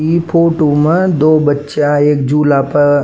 इ फोटो म दो बच्चा एक झुल्ला प --